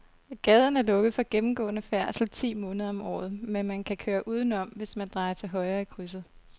Gaden er lukket for gennemgående færdsel ti måneder om året, men man kan køre udenom, hvis man drejer til højre i krydset.